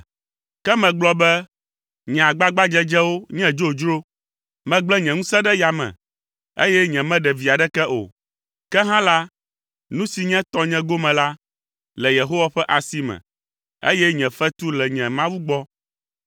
Ke megblɔ be, “Nye agbagbadzedzewo nye dzodzro. Megblẽ nye ŋusẽ ɖe yame, eye nyemeɖe vi aɖeke o. Ke hã la, nu si nye tɔnye gome la, le Yehowa ƒe asi me, eye nye fetu le nye Mawu gbɔ.”